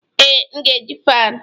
Ee, m ga-eji fan